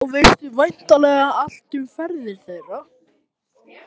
Þá veistu væntanlega allt um ferðir þeirra.